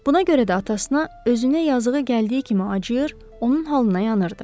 Buna görə də atasına özünə yazığı gəldiyi kimi acıyır, onun halına yanırdı.